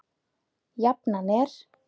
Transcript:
Jafnan er